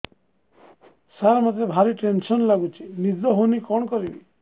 ସାର ମତେ ଭାରି ଟେନ୍ସନ୍ ଲାଗୁଚି ନିଦ ହଉନି କଣ କରିବି